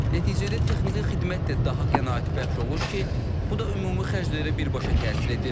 Nəticədə texniki xidmət də daha qənaətbəxş olur ki, bu da ümumi xərclərə birbaşa təsir edir.